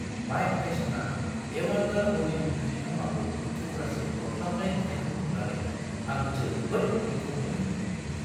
Mic टाइसना एवान्दार हलीफील्डनि खोमाखौ थुख्रासे अरख्लाबनाय नुथायखौ नुनानै आं जोबोद मुगैथाव मोनदोंमोन!